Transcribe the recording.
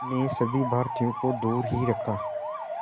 ने सभी भारतीयों को दूर ही रखा